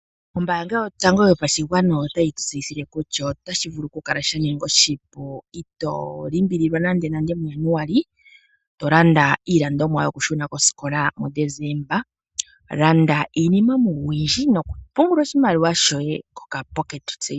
Ombaanga yotango yopashigwana otayi tutseyithile kutya otashi vulu kukala shaninga oshipu ito limbililwa nande muJanuali. Tolanda iilandomwa yokushuna koskola muDecemba. Landa iinima oyindji nokupungula oshimaliwa shoye koka pocket saving.